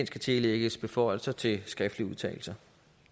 skal tillægges beføjelser til skriftlige udtalelser